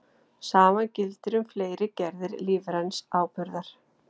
Sama gildir um fleiri gerðir lífræns áburðar.